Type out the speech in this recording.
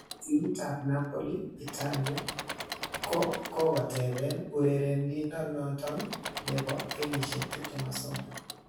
Timitab Napoli Italia, ko kogoteben urerenindonoton nebo kenyisiek 23.